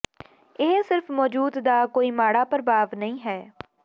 ਇਹ ਸਿਰਫ ਮੌਜੂਦ ਦਾ ਕੋਈ ਮਾੜਾ ਪ੍ਰਭਾਵ ਨਹੀਂ ਹੈ